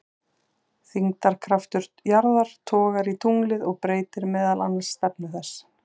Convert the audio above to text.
Þyngdarkraftur jarðar togar í tunglið og breytir meðal annars stefnu þess.